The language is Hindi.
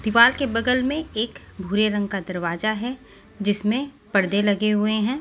दीवाल के बगल में एक भूरे रंग का दरवाजा है जिसमें पर्दे लगे हुए हैं।